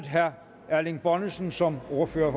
herre erling bonnesen som ordfører